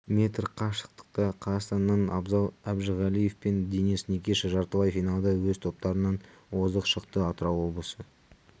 метр қашықтықта қазақстаннан абзал әжіғалиев пен денис никиша жартылай финалда өз топтарынан озық шықты атырау облысы